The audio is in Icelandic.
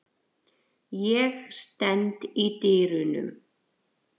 Ég stend í dyrunum.